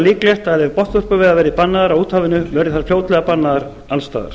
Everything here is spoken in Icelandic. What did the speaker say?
líklegt að ef botnvörpuveiðar verða bannaðar á úthafinu verði þær fljótlega bannaðar alls staðar